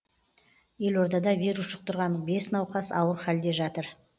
елордада вирус жұқтырған бес науқас ауыр халде жатыр